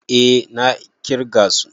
A na ƙirga su